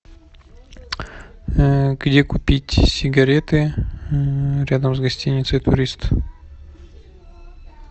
где купить сигареты рядом с гостиницей турист